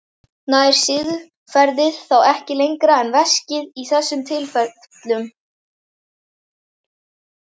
Nær siðferðið þá ekki lengra en veskið í þessum tilfellum?